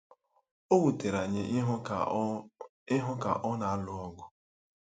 O wutere anyị ịhụ ka ọ ịhụ ka ọ na-alụ ọgụ.